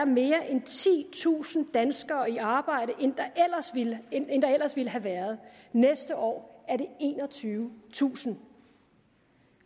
mere end titusind danskere flere i arbejde end der ellers ville have været næste år er det enogtyvetusind